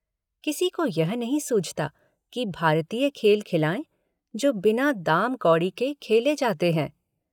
किसी को यह नहीं सूझता कि भारतीय खेल खिलाएं जो बिना दाम कौड़ी के खेले जाते हैं।